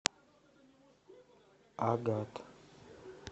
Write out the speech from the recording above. агат